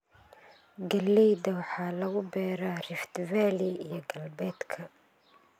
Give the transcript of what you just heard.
Galleyda waxaa lagu beeraa Rift Valley iyo Galbeedka.